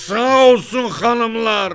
Sağ olsun xanımlar!